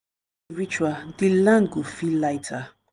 ritual di land go feel lighter.